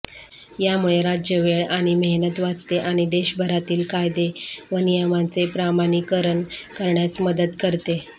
यामुळे राज्य वेळ आणि मेहनत वाचते आणि देशभरातील कायदे व नियमांचे प्रमाणीकरण करण्यास मदत करते